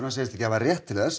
segist ekki hafa rétt til þess